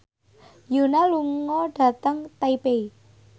Yoona lunga dhateng Taipei